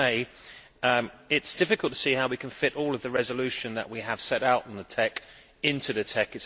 It is difficult to see how we can fit all of the resolution that we have set out on the TEC into the TEC.